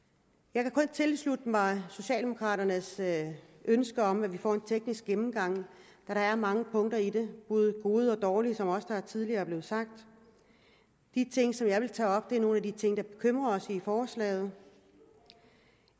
jeg kan kun tilslutte mig socialdemokraternes ønske om at vi får en teknisk gennemgang da der er mange punkter i det både gode og dårlige som der også tidligere er blevet sagt de ting som jeg vil tage op er nogle af de ting der bekymrer os i forslaget i forslaget